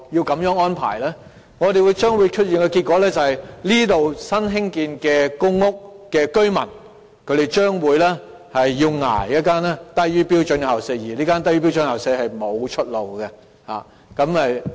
結果是那些居住在新建成公屋的居民，將要"忍受"一間"低於標準校舍"的學校，而這間"低於標準校舍"的學校沒有任何出路。